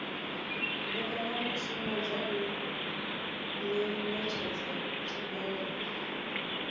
mbekanyamushumo dza u ṅetshedza tshumelo